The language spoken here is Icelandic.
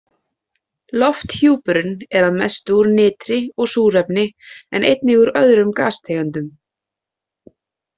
Lofthjúpurinn er að mestu úr nitri og súrefni en einnig úr öðrum gastegundum.